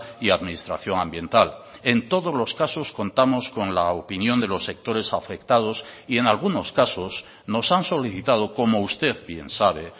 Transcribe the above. y administración ambiental en todos los casos contamos con la opinión de los sectores afectados y en algunos casos nos han solicitado como usted bien sabe